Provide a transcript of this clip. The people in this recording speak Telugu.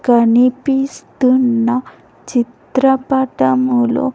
కనిపిస్తున్న చిత్రపటములో--